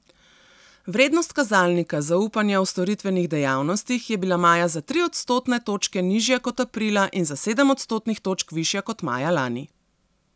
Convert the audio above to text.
Vrednost kazalnika zaupanja v storitvenih dejavnostih je bila maja za tri odstotne točke nižja kot aprila in za sedem odstotnih točk višja kot maja lani.